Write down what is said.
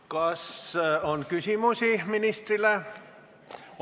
Kas ministrile on küsimusi?